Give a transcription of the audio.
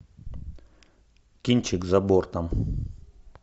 кинчик за бортом